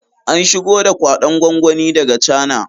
An shigo da kwaɗon gwangwani daga cana